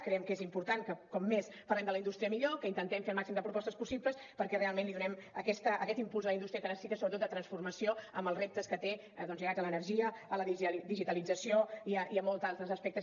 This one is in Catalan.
creiem que és important que com més parlem de la indústria millor que intentem fer el màxim de propostes possibles perquè realment li donem aquest impuls a la indústria que necessita sobretot de transformació amb els reptes que té doncs lligats a l’energia a la digitalització i a molts altres aspectes